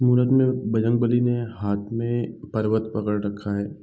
बजरंग बली ने हाथ में पर्वत पकड़ रखा है |.